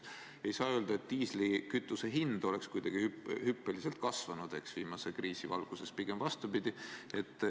Ei saa öelda, et diislikütuse hind on kuidagi hüppeliselt tõusnud viimase kriisi ajal, pigem vastupidi.